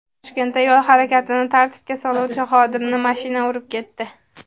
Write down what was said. Toshkentda yo‘l harakatini tartibga soluvchi xodimni mashina urib ketdi.